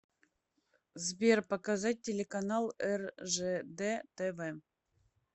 сбер показать телеканал ржд тв